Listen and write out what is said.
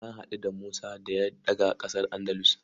Na haɗu da Musa da ya daga ƙasar Andalus.